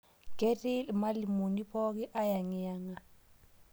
Keti lmalimoni pooki ayangiyanga